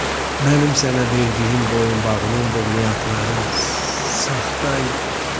Mənim sənə verdiyim boyunbağının brilyantları saxtaydı.